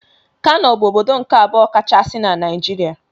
Kano bụ ọbọdọ nke abụọ kachasị n' Naijiria.